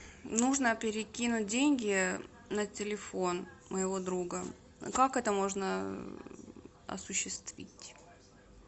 нужно перекинуть деньги на телефон моего друга как это можно осуществить